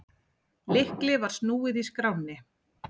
Lykli var snúið í skránni.